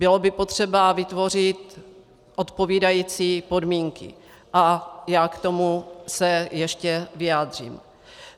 Bylo by potřeba vytvořit odpovídající podmínky a já se k tomu ještě vyjádřím.